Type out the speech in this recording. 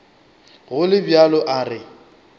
go le bjalo a re